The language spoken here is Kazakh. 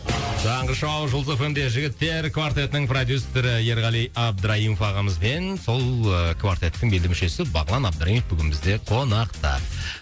таңғы шоу жұлдыз эф эм де жігіттер квартетінің продюссеры ерғали абдраимов ағамыз бен сол ыыы квартеттің белді мүшесі бағлан абдраимов бүгін бізде қонақта